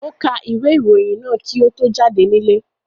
Ó ka ìwé-ìròyìn náà kí ó tó jáde nílé.